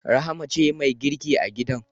Rahma ce mai girki a gidan